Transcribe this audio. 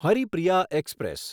Haripriya express